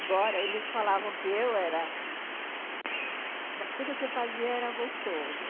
Agora, eles falavam que eu era... Tudo que eu fazia era gostoso.